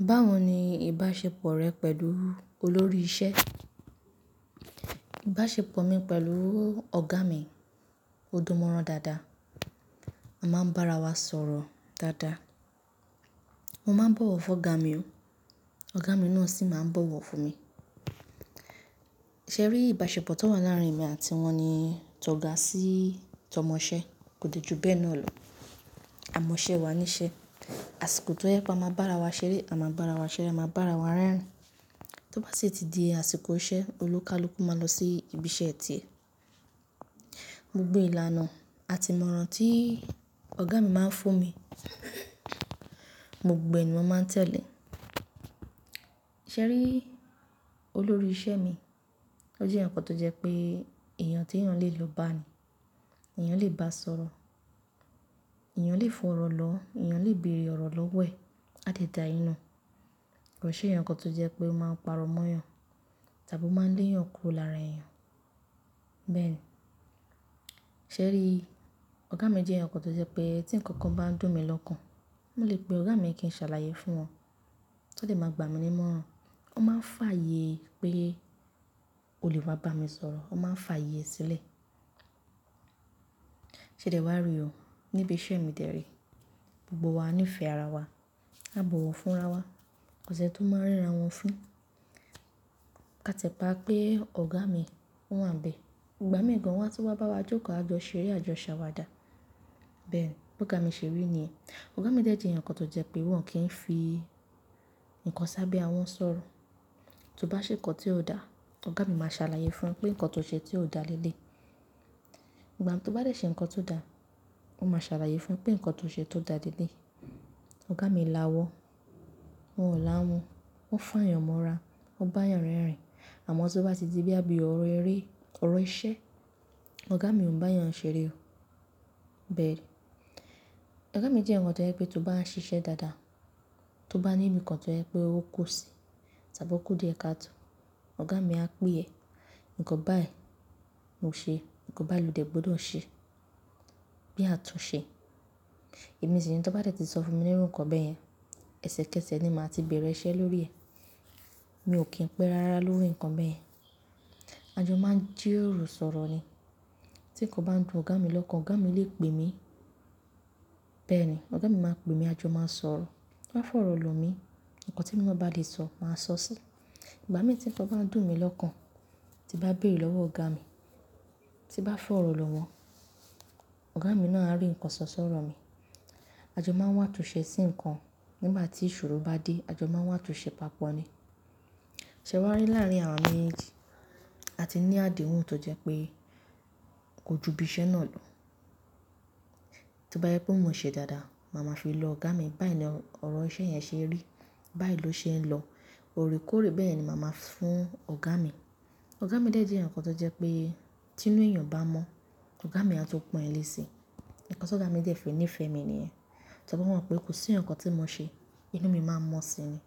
Báwo ni ìbáṣepọ̀ rẹ pẹ̀lú olórí ìṣe? Ìbáṣepọ̀ mi pẹ̀lú ọ̀gá mi, ó dùn mọ́ran dáadáa. A máa ń bá ara wa sọ̀rọ̀ dáadáa. Mo máa ń bọ̀wọ̀ fún ọ̀gá mi o, ọ̀gá mi náà sì máa ń bọ̀wọ̀ fún mi. Ṣé rí, ìbáṣepọ̀ tó wà láàárín mi àti wọn ni tó ga sí tọ́mọ iṣẹ́, kò dé ju bẹ́ẹ̀ náà lọ. A mọ iṣẹ́ wa ní iṣẹ́. Àsìkò tó yẹ kó a máa bá ara wa ṣeré, a máa bá ara wa ṣeré, a máa bá ara wa rẹ́rìn-ín. Tí ó bá sì ti di àsìkò iṣẹ́, olúkalúkú máa lọ sí ibi iṣẹ́ tiẹ̀. Gbogbo ìlànà àti ìmọ̀ràn tí ọ̀gá mi máa ń fún mi, mo gbogbo ẹ ni mo máa ń tẹ̀lé. Ṣé rí, olórí iṣẹ́ mi, ó jẹ́ ǹkan tó jẹ́ pé èèyàn tí èèyàn lè lo bá ni, èèyàn lè bá sọ̀rọ̀, èèyàn lè fọ̀rọ̀ lọ, èèyàn lè bèrè ọ̀rọ̀ lọ́wẹ̀, á dìdá inú. Kò ṣe èyankan tó jẹ́ pé máa parọ́ mọ́ èèyàn, tàbí ó máa ń lé èèyàn kúrò lára èèyàn. Bẹ́ẹ̀ ni. Ṣé rí, ọ̀gá mi jẹ́ èyàǹkan tó jẹ́ pé tí ǹkan kan bá ń dùn mi lọ́kàn, mo lè pe ọ̀gá mi kí n ṣàlàyé fún wọn. Tó dè máa gbàmí nímọ́ran, wọn máa ń fààyè pé oblè wa bá mi sọ̀rọ̀, wọn máa ń fààyè sílẹ̀. Ṣé dè wá rí o, níbi iṣẹ́ mi tẹ̀rí. Gbogbo wa níìfẹ̀ ara wa, a bọ̀wọ̀ fún ara wa. Kò ṣé n tó máa ń ríra wọn fún. A tẹ̀pá pé ọ̀gá mi wọ́n wà ń bẹ. Ìgbà mii gan wọ́n tun wá bá wa jókòó àa jọ ṣeré, à jọ ṣàwada. Bẹ́ẹ̀ ni, bóga mi ṣe rí niyen. Ọ̀gá mi jẹ́ èyàǹkan tó jẹ́ pé wọ́n kì í fi nǹkan sábẹ́ awon sọ̀rọ̀. Tí ó bá ṣe nǹkan tí ó dá, ọ̀gá mi máa ṣàlàyé fún e pé nǹkan tó ṣe tí ó dá lẹ́lẹ́i. Ìgbà tó bá dẹ̀ ṣe nǹkan tó dá, wọn máa ṣàlàyé fún e pé nǹkan tó ṣe tó dá lẹ́ẹ́. Ọ̀gá mi lawọ, wọn ò láhun, wọn fà'yànmọ́ra, wọn bá'yàn rerìn. Àmọ́ tí ó bá tì di bóyá àbí òrò eré, òrò iṣẹ́, ọ̀gá mi ò ń bá'yàn ṣeré o. Bẹ́ẹ̀ ni. Ọ̀gá mi jẹ́ èyàǹkan tó jẹ́ pé tí ó bá ń ṣiṣẹ́ dáadáa, tí ó bá níbi kan tó jẹ́ pé ó kù sí, tàbí ó kú díẹ̀ ká tó, ọ̀gá mi á pè é, "Nǹkan báyìí, lo ṣe, nǹkan báyìí lòde gbọdọ̀ ṣe." Bí atúnṣe. Èmi sì ni tí ó bá dẹ̀ ti sọ fún mi nírú ǹkan bẹ́ẹ̀ yẹn, ẹsẹ kẹsẹ̀ ni màá ti bẹ̀rẹ̀ iṣẹ́ lórí ẹ̀. Mi ò kí ń pẹ́ rárá lórí nǹkan bẹ́ẹ̀ yẹn. Ajo máa ń jíròrò sọ̀rọ̀ ni. Tí ǹkan bá ń dùn ọ̀gá mi lọ́kàn, ọ̀gá mi lè pè mi. Bẹ́ẹ̀ ni, ọ̀gá mi máa pè mi, ajo máa ń sọ̀rọ̀. Wọ́n á fọ̀rọ̀ lọ mi. Ǹkan temi naa bá lè sọ, màá sọ sí i. Ìgbà mii tí tí ǹkan bá ń dùn mi lọ́kàn, tí bá bèrẹ̀ lọ́wọ́ ọ̀gá mi, tí bá fọ̀rọ̀ lọ wọ́n, ọ̀gá mi náà á rí ǹkan ṣọ̀ ṣọ̀rọ̀ mi. Ajo máa ń wà'túnṣẹ sí ǹkan nígbà tí ìṣòro bá dé, ajo máa ń wà'túnṣẹ papọ̀ ni. Ṣé wá rí láàárín àwa méjèèjì, a ti ní àdéhùn tó jẹ́ pé kò ju ibi iṣẹ́ náà lọ. Tó bá jẹ pé mo ń ṣe dáadáa, màá ma fi lo ọ̀gá mi, "Báyìí ni ọ̀rọ̀ iṣẹ́ yẹn ṣe rí, báyìí ló ṣe ń lọ." Oorekóorè bẹ́ẹ̀ ni màá máa fún ọ̀gá mi. Ọ̀gá mi de jẹ́ èyànkan tó jẹ́ pé tí inú èèyàn bá mọ́, ọ̀gá mi a tun pọn ẹ lẹ́ si. Ǹkan tí ọ̀gá mi dẹ fi nífẹ̀ẹ́ mi niyen, tór'on mọ̀ pé kò sí ǹkan tí mo ṣe inú mi máa mọ́ síni.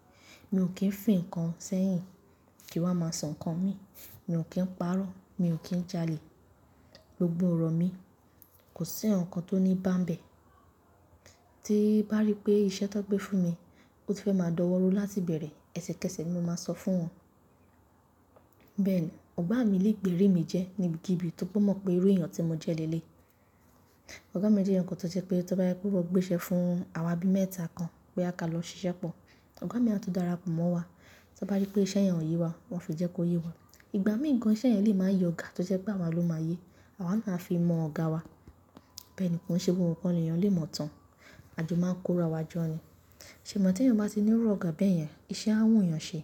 Mi ò kí ń fì ǹkan sẹ́yìn kí wa máa sọ ǹkan mi, mi ò kí ń parọ́, mi ò kí ń jalè. Gbogbo ọ̀rọ̀ mi kò sí ǹkankan tó ní bá ń bẹ. Tí bá rí pé iṣẹ́ tó gbé fún mi, ó ti fẹ́ máa dọ́wọ́ rú láti bẹ̀rẹ̀, ẹsẹkẹsẹ̀ ni mo máa sọ fún wọn. Bẹ́ẹ̀ ni, ọ̀gá mi lè gbèrí mi jẹ́ níbikibì tóri p'on mọ̀ pé irú èèyàn tí mo jẹ́ lẹ́lẹ́yi. Ọ̀gá mi jẹ́ èyànkan tó jẹ́ pé tí ó bá je pé wón gbé iṣẹ́ fún àwa bí mẹ́ta kan bóyá ká lọ ṣiṣẹ́ pọ̀, ọ̀gá mi a tun darapọ̀ mọ́ wa. Tí ó bá rí pé iṣẹ́ yẹn ò yé wa, wọn ó fi jẹ́ kó yé wa. Ìgbà mii gan iṣẹ́ yẹn lè máa yé ọ̀gá tó jẹ́ pé àwa ló máa yé, àwa náà a fi mọ ọ̀gá wa. Bẹ́ẹ̀ ni, kòn se gbogbo nkan l'èèyàn lè mọ̀ tán. Ajo máa ń kó ra wa jọ ni. Ṣèé mà tí èèyàn bá ti nírú ọ̀gá bẹ́ẹ̀ yẹn, iṣẹ́ á wùn'yàn ṣe.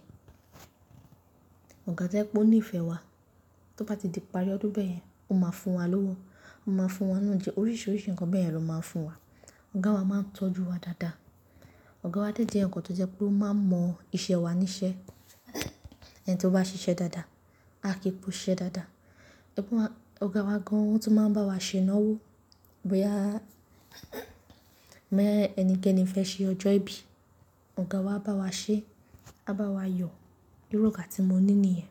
Ọ̀gá tó jẹ pé ó ní ìfẹ́ wa, tí ó bá ti di ipari ọdún bẹ́ẹ̀ yẹn, ó máa fún wa lówó, ó máa fún wa iná jẹ, oríṣiríṣi ǹkan bẹ́ẹ̀ yẹn ló máa ń fún wa. Ọ̀gá wa máa ń tọ́jú wa dáadáa. Ọ̀gá wa jẹ́ èyànkan tó jẹ́ pé ó máa ń mọ iṣẹ́ wa ní iṣẹ́. Ẹni tí ó bá ṣiṣẹ́ dáadáa, a kì í po siṣẹ́ dáadáa. Ẹgbẹ́ wa, ọ̀gá wa gan an o tun máa ń báwa ṣe'náwó. Bóyá ẹnikẹ́ni fẹ́ ṣe ọjọ́ ìbí, ọ̀gá wa á bá wa ṣe, á bá wa yọ. Irú ọ̀gá tí mo ní niyen.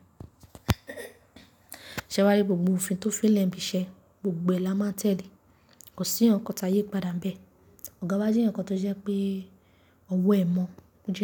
Sẹ́ wá rí gbogbo òfin tó fẹ́ lẹ̀ níbi iṣẹ́, gbogbo ẹ la máa n tẹ̀lé. Kò sí ǹkankan tá yipadà ń bẹ. Ọ̀gá wa jẹ́ èyànkan tó jẹ́ pé ọwọ́ ẹ mọ̀, ó jí.